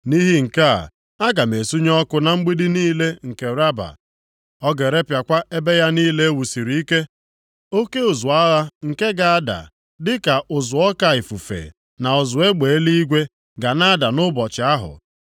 Nʼihi nke a, aga m esunye ọkụ na mgbidi niile nke Raba. Ọ ga-erepịakwa ebe ya niile e wusiri ike. Oke ụzụ agha nke ga-ada dịka ụzụ oke ifufe, na ụzụ egbe eluigwe ga na-ada nʼụbọchị ahụ.